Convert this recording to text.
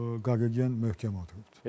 Qaqogen möhkəm oturubdur.